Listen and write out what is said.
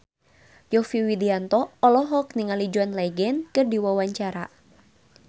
Yovie Widianto olohok ningali John Legend keur diwawancara